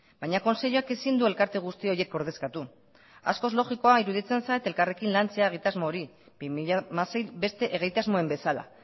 baina kontseiluak ezin du elkarte guzti horiek ordezkatu askoz logikoa iruditzen zait elkarrekin lantzea egitasmo hori bi mila hamasei beste egitasmoen bezala